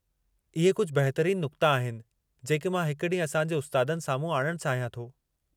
इहे कुझु बहितरीनु नुक़्ता आहिनि जेके मां हिकु ॾींहुं असां जे उस्तादनि साम्हूं आणणु चाहियां थो।